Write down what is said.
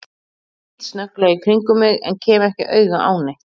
Ég lít snögglega í kringum mig en kem ekki auga á neitt.